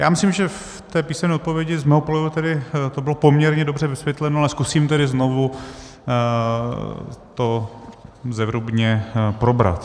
Já myslím, že v té písemné odpovědi z mého pohledu tedy to bylo poměrně dobře vysvětleno, ale zkusím tedy znovu to zevrubně probrat.